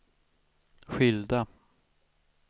skilda